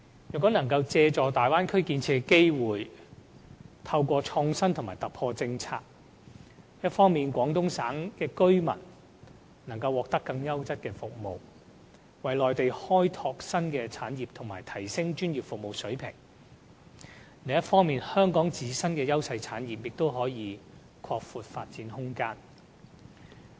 如能借助大灣區建設的機會，透過政策創新和突破，一方面，廣東省的居民能獲得更優質的服務，為內地開拓新的產業和提升專業服務水平；另一方面，香港的自身優勢產業亦可拓闊發展空間。